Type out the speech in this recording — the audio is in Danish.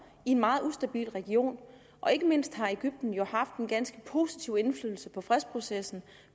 i en meget ustabil region og ikke mindst har egypten jo haft en ganske positiv indflydelse på fredsprocessen